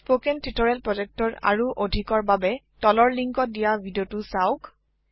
spoken tutorial প্ৰজেক্টৰ আৰু অধিকৰ বাবে তলৰ লিংকত দিয়া ভিডিঅ চাওক